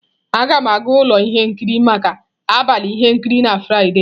Aga m aga ụlọ ihe nkiri maka abalị ihe nkiri na Fraịde.